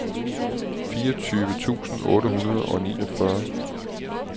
fireogtyve tusind otte hundrede og fireogfyrre